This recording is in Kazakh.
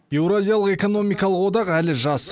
еуразиялық экономикалық одақ әлі жас